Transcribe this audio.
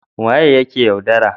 waye yake yaudara?